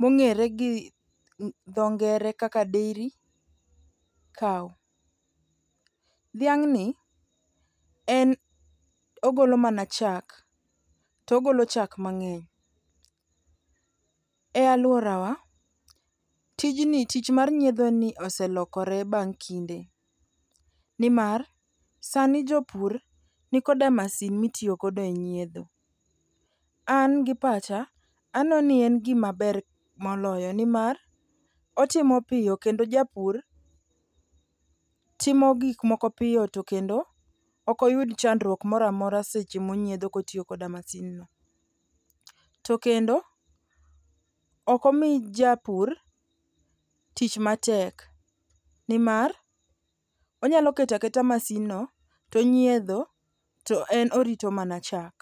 mong'ere gi dho ngere kaka dairy cow. Dhiang'ni en ogolo mana chak togolo chak mang'eny. E alworawa, tijni tich mar nyiedho en ni oselokore bang' kinde, nimar sani jopur nikoda masin mitiyogodo e nyiedho. An gi pacha aneno ni en gimaber moloyo nimar otimo piyo kendo japur timo gikmoko piyo to kendo ok oyud chandruok moro amora seche monyiedho kotiyo koda masinno. To kendo ok omi japur tich matek, nimar onyalo keto aketa masinno tonyiedho to en orito mana chak.